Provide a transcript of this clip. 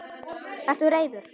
Ertu reiður?